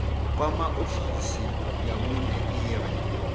kwama ofisi ya vhune ire